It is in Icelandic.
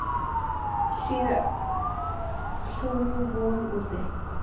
Sú sé sú von úti.